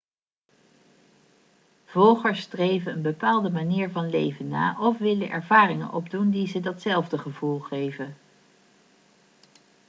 volgers streven een bepaalde manier van leven na of willen ervaringen opdoen die ze datzelfde gevoel geven